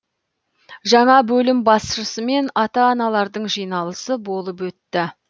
жаңа бөлім басшысымен ата аналардың жиналысы болып өтті